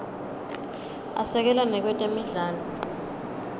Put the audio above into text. asekela nakwetemidlalo